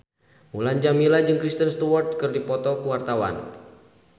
Mulan Jameela jeung Kristen Stewart keur dipoto ku wartawan